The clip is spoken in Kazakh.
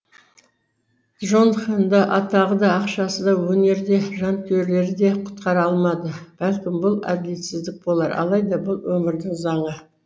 джонхенді атағы да ақшасы да өнері де жанкүйерлері де құтқара алмады бәлкім бұл әділетсіздік болар алайда бұл өмірдің заңы